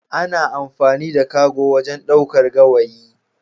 Ana amfani da cargo wajen ɗaukar gawayi.